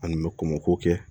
An kun bɛ komɔkɔ kɛ